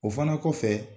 O fana kɔfɛ